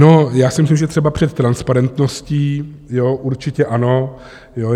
No, já si myslím, že třeba před transparentností, jo, určitě ano.